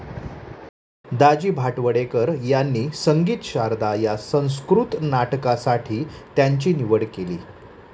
दाजी भाटवडेकर यांनी संगीत शारदां या संस्कृत नाटकासाठी त्यांची निवड केली.